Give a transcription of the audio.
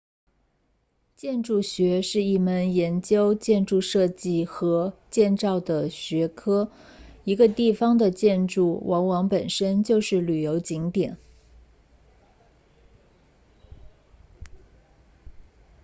建筑学是一门研究建筑设计和建造的学科一个地方的建筑往往本身就是旅游景点